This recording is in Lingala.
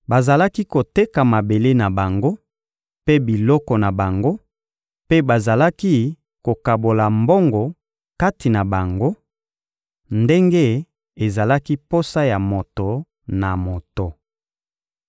Bazalaki koteka mabele na bango mpe biloko na bango, mpe bazalaki kokabola mbongo kati na bango, ndenge ezalaki posa ya moto na moto.